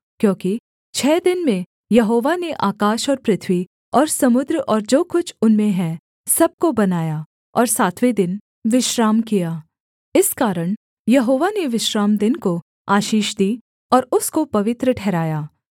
क्योंकि छः दिन में यहोवा ने आकाश और पृथ्वी और समुद्र और जो कुछ उनमें है सब को बनाया और सातवें दिन विश्राम किया इस कारण यहोवा ने विश्रामदिन को आशीष दी और उसको पवित्र ठहराया